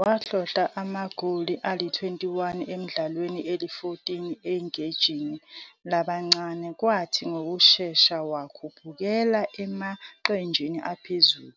Wahlohla amagoli ali-21 emidlalweni eli-14 eqenjini labancane, kwathi ngokushesha wakhuphukela emaqenjini aphezulu,